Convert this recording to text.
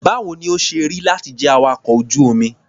Báwo ni ó ṣe rí láti jẹ́ awakọ̀ ojú-omi?